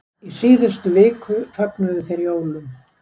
Í síðustu viku fögnuðu þeir jólum.